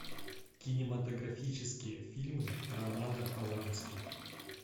кинематографические фильмы романа полански